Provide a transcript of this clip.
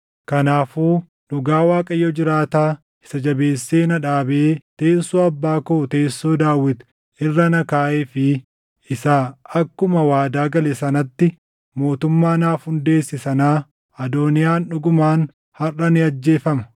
Kanaafuu dhugaa Waaqayyo jiraataa isa jabeessee na dhaabee teessoo abbaa koo teessoo Daawit irra na kaaʼee fi isa akkuma waadaa gale sanatti mootummaa naaf hundeesse sanaa Adooniyaan dhugumaan harʼa ni ajjeefama!”